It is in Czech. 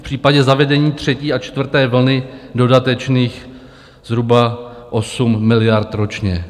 V případě zavedení třetí a čtvrté vlny dodatečných zhruba 8 miliard ročně.